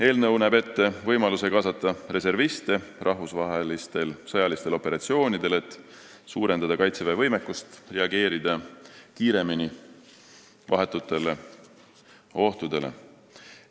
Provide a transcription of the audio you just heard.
Eelnõu näeb ette võimaluse kaasata reserviste rahvusvahelistel sõjalistel operatsioonidel, et suurendada Kaitseväe võimekust reageerida kiiremini vahetutele ohtudele.